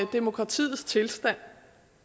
demokratiets tilstand